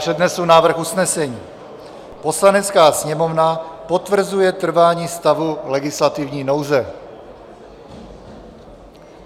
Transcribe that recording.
Přednesu návrh usnesení: "Poslanecká sněmovna potvrzuje trvání stavu legislativní nouze."